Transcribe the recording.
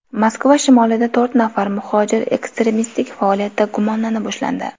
Moskva shimolida to‘rt nafar muhojir ekstremistik faoliyatda gumonlanib ushlandi.